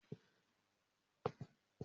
Mo máa di òṣìṣẹ́ ilé-ìfowópamọ ní ọjọ́ iwájú.